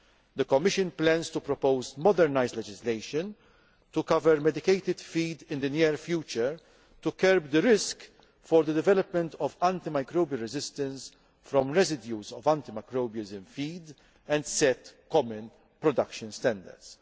The Commission plans to propose modernised legislation to cover medicated feed in the near future to curb the risk of the development of anti microbial resistance arising from residues of antimicrobials in feed and to set common production standards.